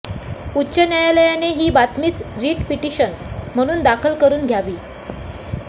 उच्च न्यायालयाने ही बातमीच रिट पिटिशन म्हणून दाखल करून घ्यावी